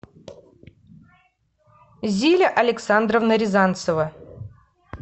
зиля александровна рязанцева